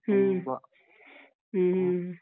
ಹ್ಮ.